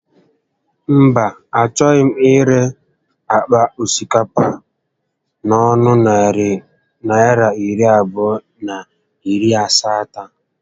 Mba, a choghị m ire àkpà osikapa a n'ọnụ narị Naịra iri abụọ na iri asatọ